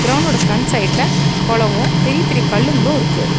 கிரவுண்டோட front சைடுல கொளமும் பெரிய பெரிய கல்லுங்களும் இருக்கு.